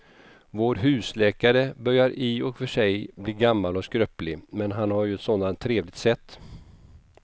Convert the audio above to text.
Vår husläkare börjar i och för sig bli gammal och skröplig, men han har ju ett sådant trevligt sätt!